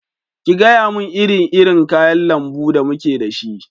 Ki gayamun iri irin kayan lambu da muke da shi!